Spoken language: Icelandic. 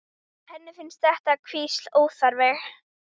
Henni finnst þetta hvísl óþarft.